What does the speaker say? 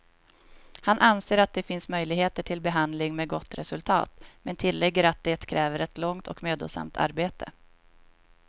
Han anser att det finns möjligheter till behandling med gott resultat, men tillägger att det kräver ett långt och mödosamt arbete.